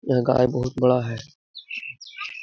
यह गाय बहुत बड़ा है।